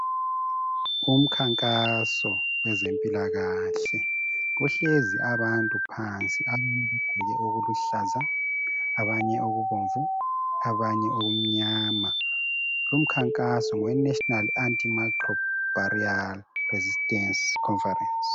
Umkhankaso wezempilakahle. Kuhlezi abantu phansi. Abanye bagqoke okuluhlaza. Abanye okubomvu. Abanye okumnyama. Lumkhankaso, ngoweNational Antimicrobial Resistance Conference.